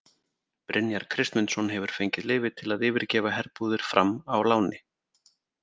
Brynjar Kristmundsson hefur fengið leyfi til að yfirgefa herbúðir Fram á láni.